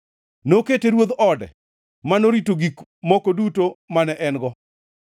Nokete ruodh ode, manorito gik moko duto mane en-go,